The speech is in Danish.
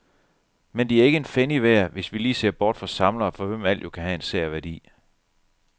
Men de er ikke en pfennig værd, hvis vi lige ser bort fra samlere, for hvem alt jo kan have en sær værdi.